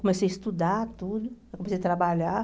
Comecei a estudar tudo, comecei a trabalhar.